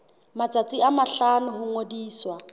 matsatsi a mahlano ho ngodisa